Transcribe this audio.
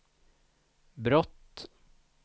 brott